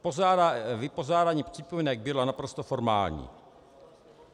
Vypořádání připomínek bylo naprosto formální.